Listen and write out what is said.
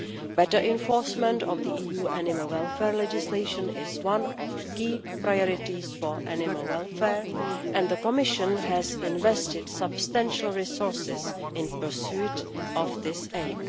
Better enforcement of the EU animal welfare legislation is one of the key priorities for animal welfare, and the Commission has invested substantial resources in pursuit of this aim.